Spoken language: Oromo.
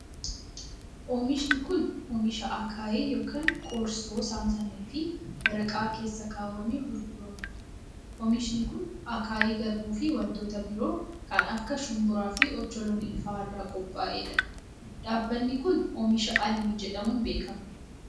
Oomishni kun, oomisha akaayii yokin qorsoo saamsamee fi waraqaa keessa kaawwamee gurguramuu dha. Oomishni kun, akaayii garbuu fi wantoota biroo kan akka shumburaa fi ocholonii faa irraa qoph'ee dha. Dhaabbanni kun ,oomishoota Almii jedhamuun beekama.